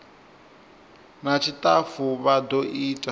na tshitafu vha do ita